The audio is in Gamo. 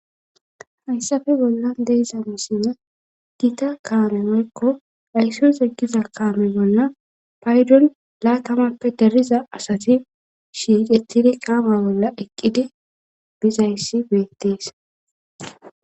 hayssafe bolla de7iza mishshi gita kaame woykko ayssos giza kaame bolani paydon laatamappe dariza asati shiiqettidi kaama bolla eqqidi bizayssi beettees